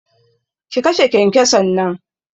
Ki kashe kyankyason nan!